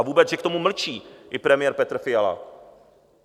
A vůbec, že k tomu mlčí i premiér Petr Fiala.